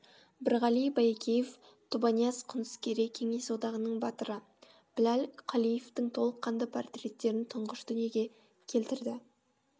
бірғали байекеев тобанияз құныскерей кеңес одағының батыры біләл қалиевтің толыққанды портреттерін тұңғыш дүниеге келтірді